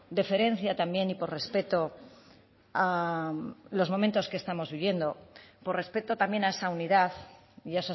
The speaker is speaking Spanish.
deferencia también y por respeto a los momentos que estamos viviendo por respeto también a esa unidad y